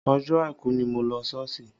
Ọjọ́ àìkú ni mo lọ sí ṣọ́ọ̀ṣì.